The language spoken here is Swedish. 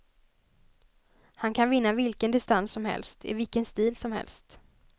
Han kan vinna vilken distans som helst, i vilken stil som helst.